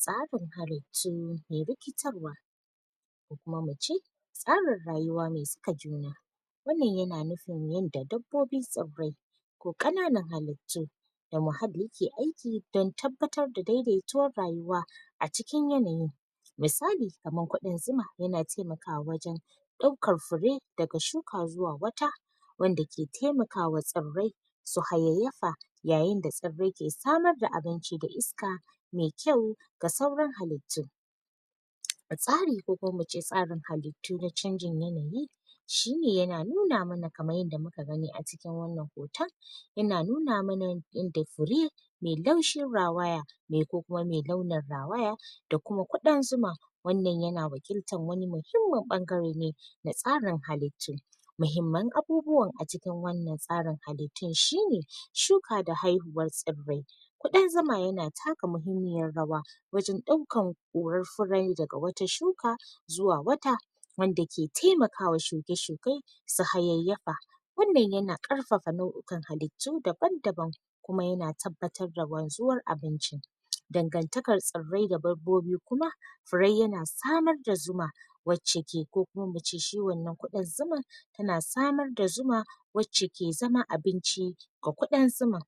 Tsafin habaice mai rikitarwa ko kuma mu ce, tsarin rayuwa mai saka juna wannan ya na nufin yanda dabbobin tsarai ko kananan halitu da muhali ke aiki, dan tabbattar da daidaituwar rayuwa a cikin yanayin misali kamar kudin zuma, ya na taimakawa wajen furei da ga shuka zuwa wata wanda ke taimakawa tsarai su haiyayafa ya yin da tsarai ke tsamar da abinci da iska mai kyau ga saurar halitu A tsari ko kuma mu ce tsarin halitu na canjin yanayi shi ne ya na nuna mana kamar yadda mu ka gani a cikin wannan hoto ya na nuna mana yanda furi mai laushin rawaya mai ko kuma mai launar rawaya da kuma kudin zuma wannan ya na wakinta muhimmar ɓangare ne na tsarin halice muhimman abubuwan a cikin wannan tsarin halitun shi ne shuka da haihuwar tsarai kudin zuma ya na takka mahimmiyar rawa wajen daukan kurar furei da ga wata shuka zuwa wata wanda ke taimaka wa shuke-shukei su hayayafa wannan ya na karfafa nauyuƙan halitu daban-daban kuma ya na tabattar da ruwan zuwar abinci dagantakar tsara da babbobi kuma furei ya na famar da zuma wacce ke, ko kuma mu ce shi wannan kudin zuma ya na samar da zuma wacce ke zama abinci ga kudin zuma.